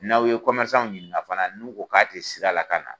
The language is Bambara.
N'aw ye ɲininka fana n'u ko k'a tɛ sira la ka na